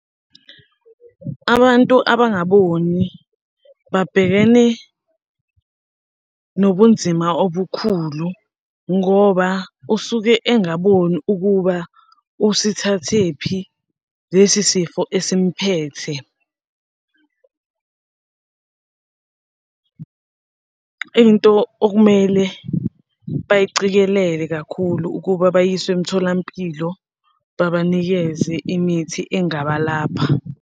Abantu abangaboni babhekene nobunzima obukhulu ngoba usuke engaboni ukuba usithathe kuphi lesi sifo esimphethe. Into okumele bayicikelele kakhulu ukuba bayiswe emtholampilo, babanikeze imithi engabalapha.